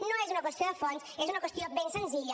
no és una qüestió de fons és una qüestió ben senzilla